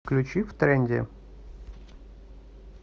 включи втренде